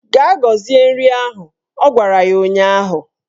Gaa gozie nri ahụ! Ọ gwara ya ụnyaahụ